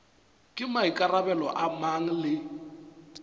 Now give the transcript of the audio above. ke maikarabelo a mang le